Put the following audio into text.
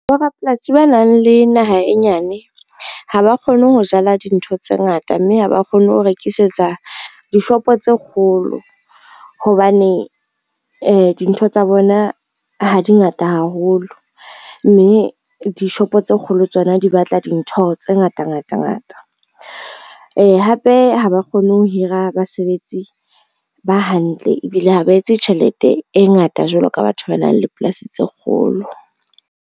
Borapolasi ba nang le naha e nyane, ha ba kgone ho jala dintho tse ngata mme ha ba kgone ho rekisetsa dishopo tse kgolo, hobane dintho tsa bona ha di ngata haholo, mme dishopo tse kgolo tsona di batla dintho tse ngata ngata ngata. Hape ha ba kgone ho hira basebetsi ba hantle ebile ha ba etse tjhelete e ngata jwalo ka batho ba nang le polasi tse kgolo.